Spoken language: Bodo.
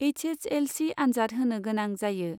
एच एस एल सि आनजाद होनो गोनां जायो।